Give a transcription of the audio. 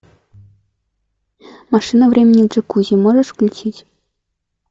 машина времени в джакузи можешь включить